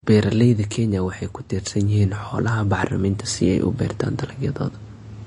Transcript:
Beeralayda Kenya waxay ku tiirsan yihiin xoolaha bacriminta si ay u beertaan dalagyadooda.